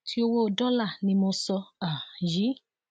ti owó dọlà ni mo sọ um yìí